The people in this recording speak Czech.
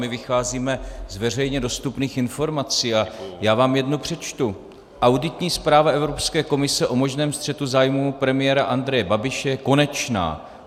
My vycházíme z veřejně dostupných informací a já vám jednu přečtu: Auditní zpráva Evropské komise o možném střetu zájmů premiéra Andreje Babiše je konečná.